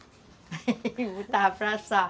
E botava para assar.